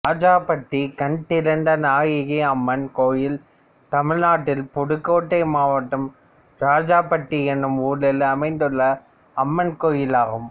இராஜாப்பட்டி கண்திறந்தநாயகி அம்மன் கோயில் தமிழ்நாட்டில் புதுக்கோட்டை மாவட்டம் இராஜாப்பட்டி என்னும் ஊரில் அமைந்துள்ள அம்மன் கோயிலாகும்